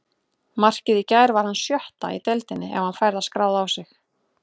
Markið í gær var hans sjötta í deildinni ef hann fær það skráð á sig.